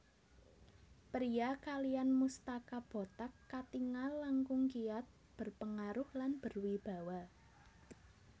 Pria kaliyan mustaka botak katingal langkung kiat berpengaruh lan berwibawa